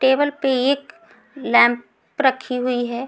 Table पे एक lamp रखी हुई हैं।